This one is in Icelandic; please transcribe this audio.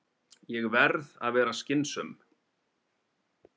Ég verð að vera skynsöm.